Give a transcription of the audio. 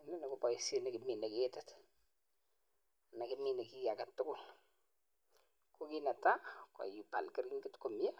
Inoni ko baishet nikimine ketit , makimine ki aketukul, ko kit netaa koibal keringet komnye